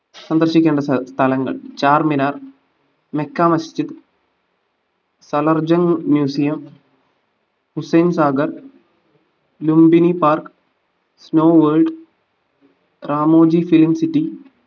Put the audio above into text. സന്ദർശിക്കേണ്ട സ്ഥ സ്ഥലങ്ങൾ Charminar Mecca masjid salarjung museum Hussain Sagar Lumbini park snow world Ramoji film city